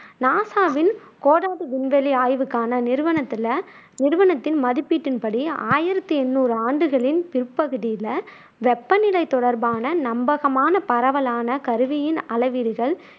நாசாவின் கோடார்டு விண்வெளி ஆய்வுகளுக்கான நிறுவனத்துல நிறுவனத்தின் மதிப்பீட்டின் படி, ஆயிரத்தி எண்ணூறு ஆண்டுகளின் பிற்பகுதியில வெப்பநிலை தொடர்பான நம்பகமான பரவலான கருவியின் அளவீடுகள்